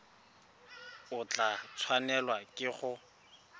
o tla tshwanelwa ke go